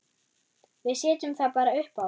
Við setjum það bara uppá.